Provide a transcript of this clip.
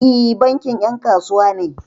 E, bankin 'yan kasuwa ne.